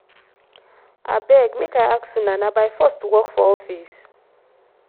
abeg make i ask una na by force to work for office?